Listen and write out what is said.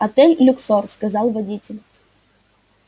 отель люксор сказал водитель